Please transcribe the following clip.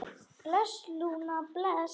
Bless, Lúna, bless.